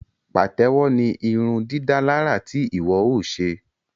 Patewo ní irundidalara tí iwọ o ṣe